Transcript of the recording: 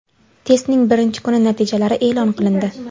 Testning birinchi kuni natijalari e’lon qilindi.